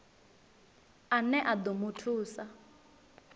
ane a ḓo mu thusa